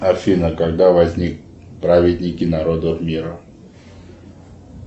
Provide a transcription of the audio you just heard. афина когда возник праведники народов мира